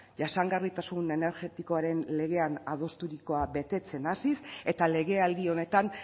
jasangarritasun energetikoaren legean adosturikoa betetzen hasiz eta legealdi honetan